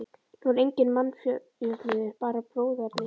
Nú er enginn mannjöfnuður, bara bróðerni.